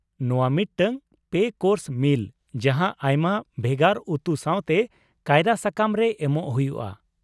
ᱱᱚᱶᱟ ᱢᱤᱫᱴᱟᱝ ᱓ ᱠᱳᱨᱥ ᱢᱤᱞ ᱡᱟᱦᱟᱸ ᱟᱭᱢᱟ ᱵᱷᱮᱜᱟᱨ ᱩᱛᱩ ᱥᱟᱶᱛᱮ ᱠᱟᱭᱨᱟ ᱥᱟᱠᱟᱢ ᱨᱮ ᱮᱢᱚᱜ ᱦᱩᱭᱩᱜᱼᱟ ᱾